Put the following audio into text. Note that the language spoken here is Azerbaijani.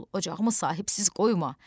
Oğul, ocağımı sahibsiz qoyma.